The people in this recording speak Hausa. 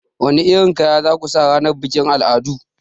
Wani irin kaya za ku sa ranar bikin al'adu?